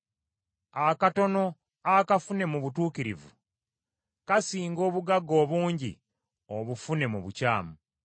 Akatono akafune mu butuukirivu, kasinga obugagga obungi obufune mu bukyamu.